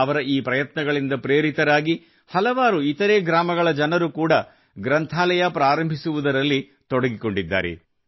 ಅವರ ಈ ಪ್ರಯತ್ನಗಳಿಂದ ಪ್ರೇರಿತರಾಗಿ ಹಲವಾರು ಇತರೆ ಗ್ರಾಮಗಳ ಜನರು ಕೂಡಾ ಗ್ರಂಥಾಲಯ ಪ್ರಾರಂಭಿಸುವುದರಲ್ಲಿ ತೊಡಗಿಕೊಂಡಿದ್ದಾರೆ